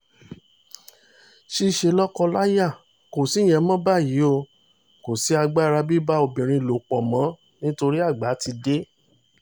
ṣíṣe lọ́kọ-láya kò sí ìyẹn mọ́ báyìí o kò sí agbára bíbá obìnrin lò pọ̀ mọ́ nítorí àgbà ti dé